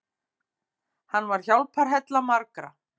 Hann var hjálparhella margra.